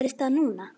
Gerðist það núna?